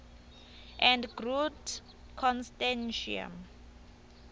and groot constantia